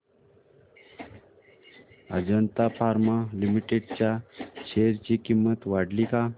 Ajanta pharma limited च्या share ची किंमत वाढली का